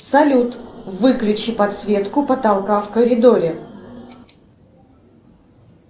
салют выключи подсветку потолка в коридоре